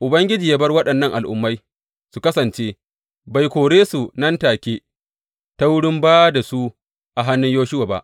Ubangiji ya bar waɗannan al’ummai su kasance; bai kore su nan take ta wurin ba da su a hannun Yoshuwa ba.